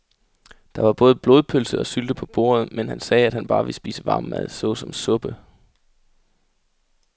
Der var både blodpølse og sylte på bordet, men han sagde, at han bare ville spise varm mad såsom suppe.